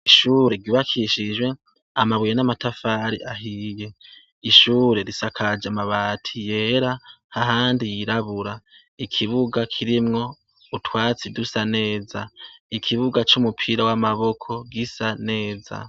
Ishure ryubakishijwe amabuye n'amatafari ahiye; ishure risakaje amabati yera ahandi yirabura. Ikibuga kirimwo utwatsi dusa neza; ikibuga c'umupira w'amaboko gisa neza.